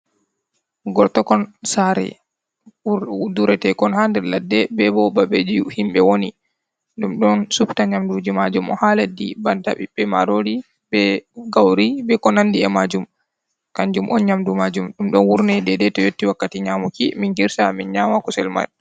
Gortokon sare duretekon ha nder ladde be bo babeji himɓe woni, ɗum ɗon supta nyamduji majum o ha leddi banta ɓiɓɓe marori, be gauri, be konandi e majum. kanjum on nyamdu majum ɗum ɗon wurne dedeto yotti wakkati nyamuki min girsa min nyama kusel mai.